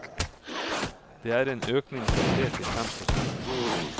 Det er en økning fra tre til fem prosent.